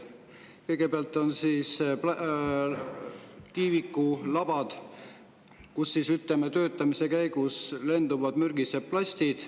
Kõigepealt on tiiviku labad, kust töötamise käigus lenduvad mürgised plastid.